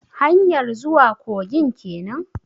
Hanyar zuwa kogin kenan?